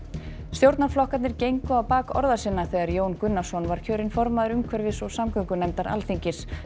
stjórnarflokkarnir gengu á bak orða sinna þegar Jón Gunnarsson var kjörinn formaður umhverfis og samgöngunefndar Alþingis